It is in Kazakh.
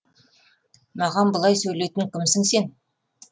маған бұлай сөйлейтін кімсің сен